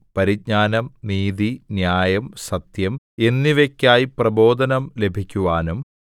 പരിജ്ഞാനം നീതി ന്യായം സത്യം എന്നിവയ്ക്കായി പ്രബോധനം ലഭിക്കുവാനും